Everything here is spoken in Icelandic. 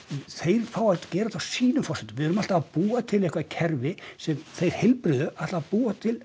þeir fá að gera þetta á sínum forsendum við erum alltaf að búa til eitthvað kerfi sem þeir heilbrigðu ætla að búa til